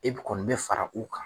E be kɔni bɛ fara u kan